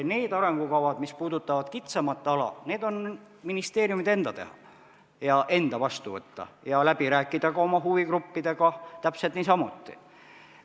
Need arengukavad, mis puudutavad kitsamat ala, on ministeeriumide enda teha ja enda vastu võtta ja ka oma huvigruppidega läbi rääkida.